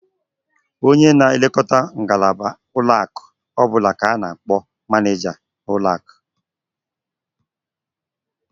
Onye na-elekọta ngalaba ụlọakụ ọbụla ka a na-akpọ manịịja ụlọakụ.